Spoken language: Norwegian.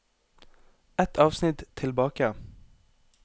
Ett avsnitt tilbake